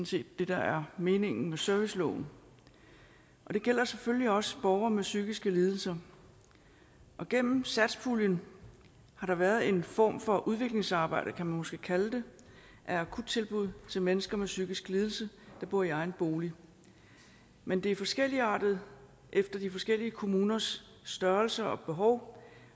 set det der er meningen med serviceloven det gælder selvfølgelig også borgere med psykiske lidelser gennem satspuljen har der været en form for udviklingsarbejde kan man måske kalde det af akuttilbud til mennesker med psykisk lidelse der bor i egen bolig men det er forskelligartet efter de forskellige kommuners størrelse og behov